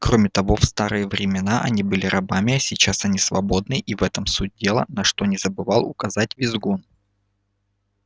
кроме того в старые времена они были рабами а сейчас они свободны и в этом суть дела на что не забывал указать визгун